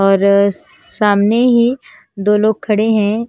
और सामने ही दो लोग खड़े हैं।